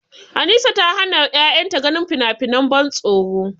Anisa ta hana ƴaƴanta ganin finafinan ban tsoro.